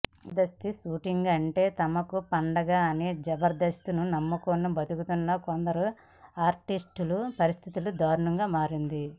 Jabardasth shooting అంటే తమకు పండగ అని జబర్దస్త్నే నమ్ముకుని బతుకుతున్న కొందరు ఆర్టిస్టుల పరిస్థితి దారుణంగా మారింది